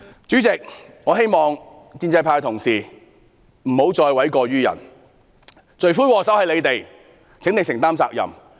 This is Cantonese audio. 主席，我希望建制派同事不要諉過於人，罪魁禍首就是他們，請他們承擔責任。